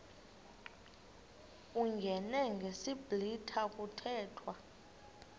uyingene ngesiblwitha kuthethwa